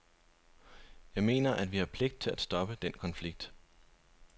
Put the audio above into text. Jeg mener, at vi har pligt til at stoppe den konflikt.